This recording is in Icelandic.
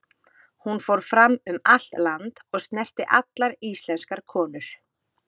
Hún fór fram um allt land, og snerti allar íslenskar konur.